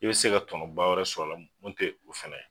E be se ka tɔnɔba wɛrɛ sɔrɔ a la mun te ofana ye